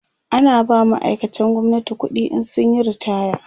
ana ba ma'aikatan gwamnati ƙuɗi in sun Yi ritaya